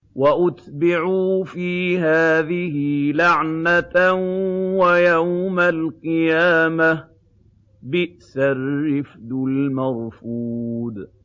وَأُتْبِعُوا فِي هَٰذِهِ لَعْنَةً وَيَوْمَ الْقِيَامَةِ ۚ بِئْسَ الرِّفْدُ الْمَرْفُودُ